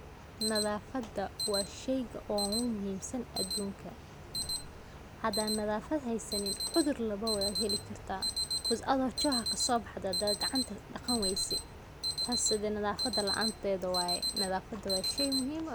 Nadafada wa sheyga ogu muhimsan adunka, hada nadafad haysanin cudur labawa wad heli karta because adhigo choha kasobaxdey hadad gacanta daqani wayse tas hadi nadafada laantedha waye, nadafada wa shey muhim ah.